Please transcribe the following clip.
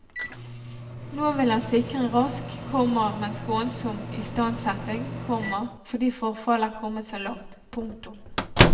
Nå vil han sikre en rask, komma men skånsom istandsetting, komma fordi forfallet er kommet så langt. punktum